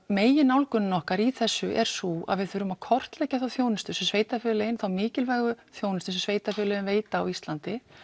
megin nálgunin okkar í þessu er sú að við þurfum að kortleggja þá þjónustu sem sveitarfélögin þá mikilvægu þjónustu sem sveitarfélögin veita á Íslandi